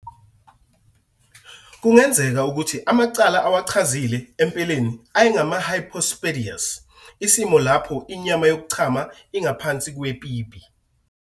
Kungenzeka ukuthi amacala awachazile empeleni ayengama-hypospadias, isimo lapho inyama yokuchama ingaphansi kwepipi.